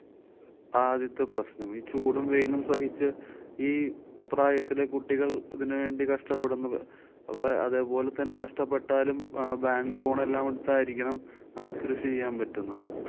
ആദ്യത്തെ പ്രശ്നം. ഈ ചൂടും വെയിലും സഹിച്ച് ഈ പ്രായത്തിലെ കുട്ടികള്‍ ഇതിനു വേണ്ടി കഷ്ടപ്പെടുന്നത്. അപ്പൊ അതെ പോലത്തന്നെ കഷ്ട്ടപ്പെട്ടാലും ആ bank loan എല്ലാം എടുത്തായിരിക്കണം നമുക്ക് കൃഷി ചെയ്യാന്‍ പറ്റുന്നത്.